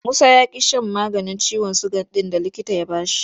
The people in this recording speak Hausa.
Musa ya ƙi shan maganin ciwon suga ɗin da likita ya ba shi.